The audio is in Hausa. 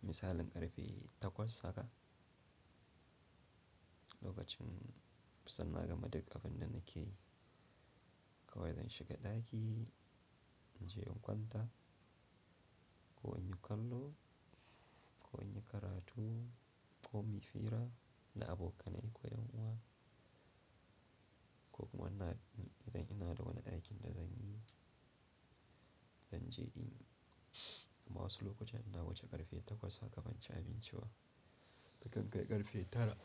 misalin ƙarfe takwas haka, lokacin kusan na gama duk abinda nakeyi kawai zan shiga ɗaki in je in kwanta ko in yi kallo ko in yi karatu ko in yi fira da abokanai ko ƴan uwa ko kuma ina, idan ina da wani aikin da zan yi, zan je in yi. Amma wasu lokutan ina wuce ƙarfe takwas haka ban ci abinci ba, na kan kai ƙarfe tara